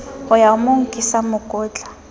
ho ya mo nkisa mokotla